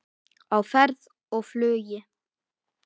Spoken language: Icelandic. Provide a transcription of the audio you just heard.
Á ferð og flugi